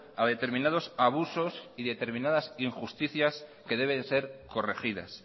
a determinados abusos y determinadas injusticias que deben ser corregidas